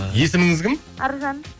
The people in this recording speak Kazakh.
есіміңіз кім аружан